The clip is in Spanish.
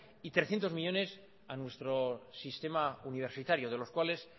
y trescientos millónes a nuestro sistema universitario de los cuales